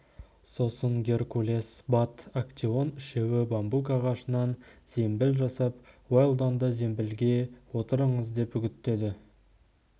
сосын геркулес бат актеон үшеуі бамбук ағашынан зембіл жасап уэлдонды зембілге отырыңыз деп үгіттеді